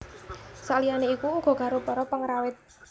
Saliyane iku uga karo para pengrawit